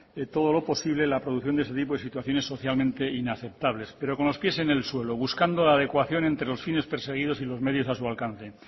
todo lo posible la producción de ese tipo de situaciones socialmente inaceptables pero con los pies en el suelo buscando la adecuación entre los fines perseguidos y los medios a su alcance